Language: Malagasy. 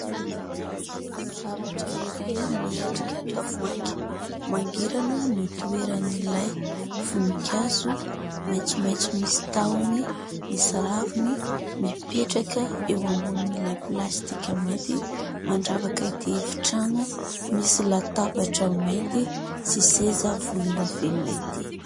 Zavatra iray miendrika tavoahangy, mangirana no itoeran'ilay voninkazo maitsomaitso misy tahony, misy raviny mipetraka eo ambonin'ilay plastika mainty, mandravaka ity efitrano misy latabatra mainty sy seza volondavenona ity.